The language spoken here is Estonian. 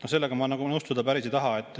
Sellega ma päris nõustuda ei taha.